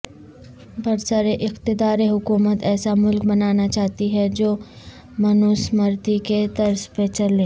برسراقتدار حکومت ایسا ملک بنانا چاہتی ہے جو منوسمرتی کے طرز پر چلے